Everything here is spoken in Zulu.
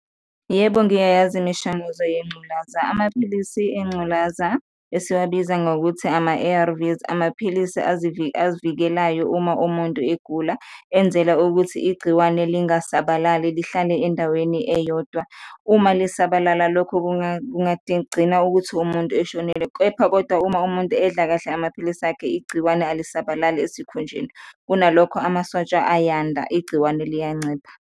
Yebo, ngiyayazi imishanguzo yengculaza, amaphilisi engculaza esiwabiza ngokuthi ama-A_R_Vs, amaphilisi avikelayo uma umuntu egula, enzela ukuthi igciwane lingasabalali, lihlale endaweni eyodwa. Uma lisabalala lokho kungagcina ukuthi umuntu eshonile kepha kodwa uma umuntu edla kahle amaphilisi akhe, igciwane alisabalali esikhunjeni kunalokho amasotsha ayanda, igciwane liyancipha.